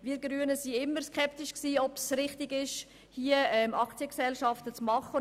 Wir Grünen waren immer skeptisch, ob es richtig ist, Aktiengesellschaften zu machen.